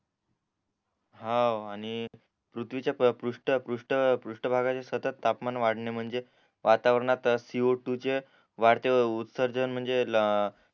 हाव आणि पृथविच्या पृष्ठ पृष्ट पृष्ट भागाच्या सतत तापमान वाढणे म्हणजे वातावरणात सी ओ टू चे वाढते उत्सर्जन म्हणजे